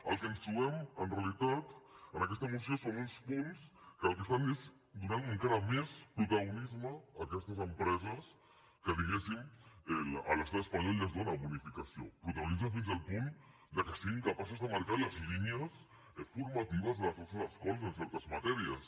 el que ens trobem en realitat en aquesta moció són uns punts que el que estan és donant encara més protagonisme a aquestes empreses a les quals diguéssim l’estat espanyol ja els dóna bonificació protagonisme fins al punt que siguin capaços de marcar les línies formatives de les nostres escoles en certes matèries